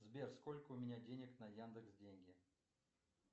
сбер сколько у меня денег на яндекс деньги